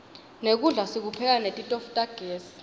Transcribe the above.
nekudla sikupheka netitofu tagezi